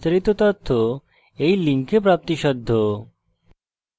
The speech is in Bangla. এই বিষয়ে বিস্তারিত তথ্য এই link প্রাপ্তিসাধ্য http:// spokentutorial org/nmeictintro